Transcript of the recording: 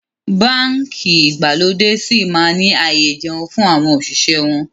Báńkì ìgbàlódé síí máa ni ààyè ìjẹun fún àwọn òṣìṣẹ́ wọn